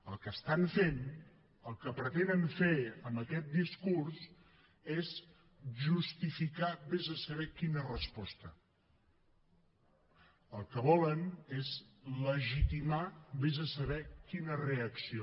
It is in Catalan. el que estan fent el que pretenen fer amb aquest discurs és justificar ves a saber quina resposta el que volen és legitimar ves a saber quina reacció